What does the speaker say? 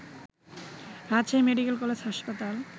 Rajshahi medical college হাসপাতাল